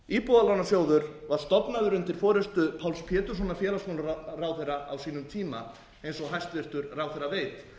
íbúðalánasjóður var stofnaður undir forustu páls péturssonar félagsmálaráðherra á sínum tíma eins og hæstvirtur ráðherra veit